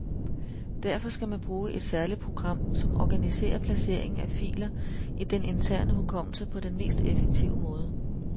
Derfor skal man bruge et særligt program, som organiserer placeringen af filer i den interne hukommelse på den mest effektive måde.